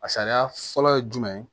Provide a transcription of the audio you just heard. A sariya fɔlɔ ye jumɛn ye